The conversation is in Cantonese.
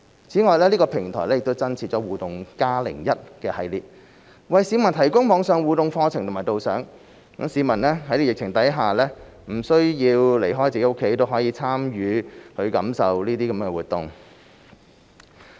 此外，這個平台亦增設"互動 +01" 系列，為市民提供網上互動課程和導賞，讓市民在疫情下不需要離開自己的家，也可參與和感受這些活動。